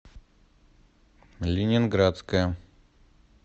ленинградская